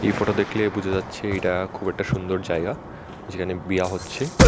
এই ফটো দেখলে বুঝা যাচ্ছে এটা খুব একটা সুন্দর জায়গা যেখানে বিয়া হচ্ছে।